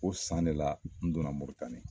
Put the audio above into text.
Ko san de la n donna Moritani.